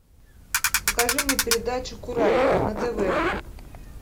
покажи мне передачу курай на тв